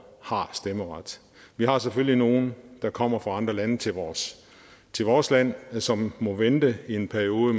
har stemmeret vi har selvfølgelig nogle der kommer fra andre lande til vores til vores land som må vente i en periode